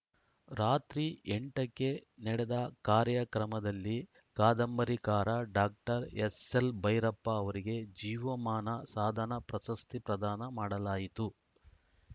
ರಾತ್ರಿ ಎಂಟ ಕ್ಕೆ ನಡೆದ ಕಾರ‍್ಯಕ್ರಮದಲ್ಲಿ ಕಾದಂಬರಿಕಾರ ಡಾಕ್ಟರ್ ಎಸ್‌ಎಲ್‌ಬೈರಪ್ಪ ಅವರಿಗೆ ಜೀವಮಾನ ಸಾಧನಾ ಪ್ರಶಸ್ತಿ ಪ್ರದಾನ ಮಾಡಲಾಯಿತು